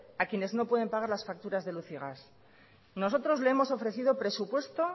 a los que no pueden pagar las facturas de luz y gas nosotros le hemos ofrecido presupuesto